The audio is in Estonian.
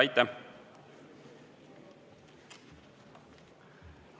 Aitäh!